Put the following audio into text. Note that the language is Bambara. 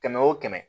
Kɛmɛ wo kɛmɛ